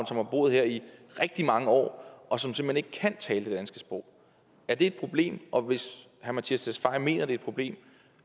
som har boet her i rigtig mange år og som simpelt hen ikke kan tale det danske sprog er det et problem og hvis herre mattias tesfaye mener at det et problem